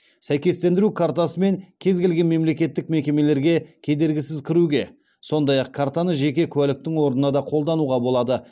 сәйкестендіру картасымен кез келген мемлекеттік мекемелерге кедергісіз кіруге сондай ақ картаны жеке куәліктің орнына да қолдануға болады